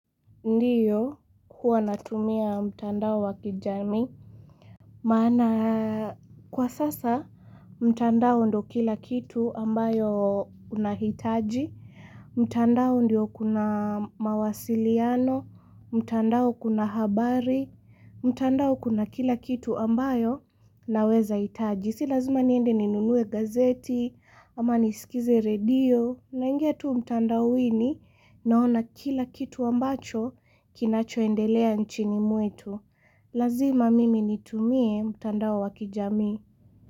Ndiyo, huwa natumia mtandao wa kijamii. Maana kwa sasa mtandao ndiyo kila kitu ambayo unahitaji. Mtandao ndiyo kuna mawasiliano, mtandao kuna habari, mtandao kuna kila kitu ambayo naweza hitaji. Si lazima niende ninunue gazeti ama nisikize redio naingia tu mtandaoni naona kila kitu ambacho kinachoendelea nchini mwetu. Lazima mimi nitumie mtandao wa kijamii.